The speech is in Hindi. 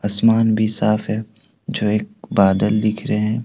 आसमान भी साफ है जो एक बादल दिख रहे हैं।